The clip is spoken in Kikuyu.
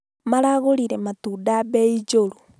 Maragũrire matunda bei njũru